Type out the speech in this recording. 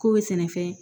K'o bɛ sɛnɛfɛn